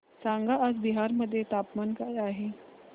सांगा आज बिहार मध्ये तापमान काय आहे